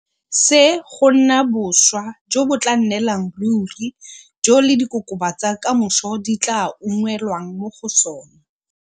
se go nna boswa jo bo tla nnelang ruri jo le dikokoma tsa ka moso di tla ungwelwang mo go sona.